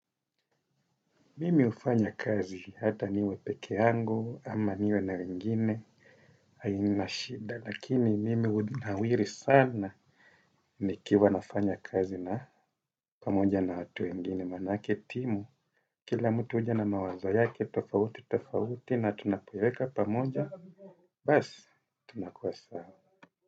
Mimi ufanya kazi hata niwe peke yangu ama niwe na wengine hainashida lakini mimi unawiri sana nikiwa nafanya kazi na pamoja na watu wengine manake timu. Kila mtu uja na mawazo yake tofauti tofauti na tunapoiweka pamoja basi tunakuwa sawa.